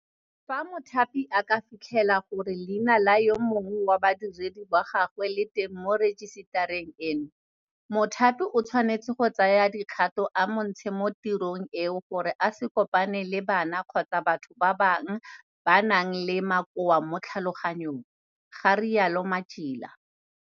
Fa mothapi a ka fitlhela gore leina la yo mongwe wa badiredi ba gagwe le teng mo rejisetareng eno, mothapi o tshwanetse go tsaya dikgato a mo ntshe mo tirong eo gore a se kopane le bana kgotsa batho ba ba nang le makoa mo tlhaloganyong ga rialo Matjila.